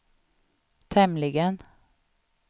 tämligen